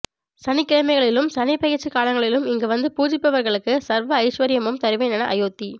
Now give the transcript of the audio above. சனிக்கிழமைகளிலும் சனிபெயர்ச்சி காலங்களிலும் இங்கு வந்து பூஜிப்பவர்களுக்கு சர்வ ஐஸ்வர்யமும் தருவேன் என அயோத்தி